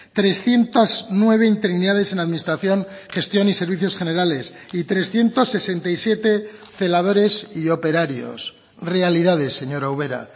trescientos nueve interinidades en la administración gestión y servicios generales y trescientos sesenta y siete celadores y operarios realidades señora ubera